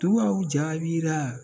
Duwɔwu jaabira